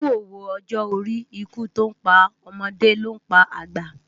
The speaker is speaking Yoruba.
Ikú ówó òjò óri Ikú tó n pá òmòdé ló n pá ágbá